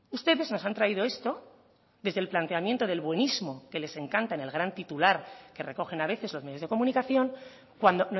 ustedes nos han traído esto desde el planteamiento del buenismo que les encanta en el gran titular que recogen a veces los medios de comunicación cuando